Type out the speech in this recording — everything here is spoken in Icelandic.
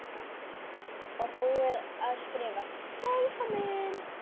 Og búið að skrifa VELKOMIN!